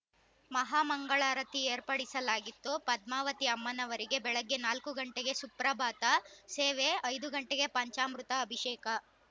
ಮಹಾ ಮಂಗಳಾರತಿ ಏರ್ಪಡಿಸಲಾಗಿತ್ತು ಪದ್ಮಾವತಿ ಅಮ್ಮನವರಿಗೆ ಬೆಳಗ್ಗೆ ನಾಲ್ಕು ಗಂಟೆಗೆ ಸುಪ್ರಭಾತ ಸೇವೆ ಐದು ಗಂಟೆಗೆ ಪಂಚಾಮೃತ ಅಭಿಷೇಕ